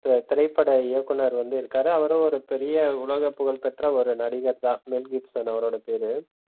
ஒரு திரைப்பட இயக்குனர் வந்து இருக்காரு அவரு ஒரு பெரிய உலகப் புகழ் பெற்ற ஒரு நடிகர்தா மெல் கிப்சன் அவரோட பேரு